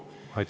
Aitäh!